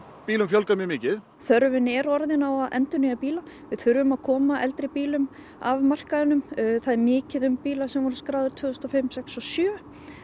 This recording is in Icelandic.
bílum fjölgað mjög mikið þörfin er orðin á að endurnýja bíla við þurfum að koma eldri bílum af markaðnum það er mikið um bíla sem voru skráðir tvö þúsund og fimm sex og sjö